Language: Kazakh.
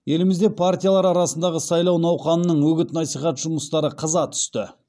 елімізде партиялар арасындағы сайлау науқанының үгіт насихат жұмыстары қыза түсті